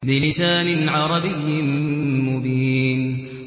بِلِسَانٍ عَرَبِيٍّ مُّبِينٍ